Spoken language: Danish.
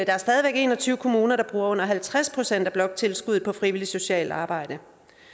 er stadig væk en og tyve kommuner der bruger under halvtreds procent af bloktilskuddet på frivilligt socialt arbejde